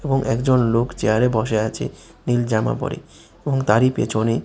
এবং একজন লোক চেয়ারে বসে আছে নীল জামা পরে এবং তারই পেছনে --